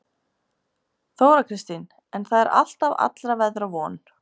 Þóra Kristín: En það er alltaf allra veðra von?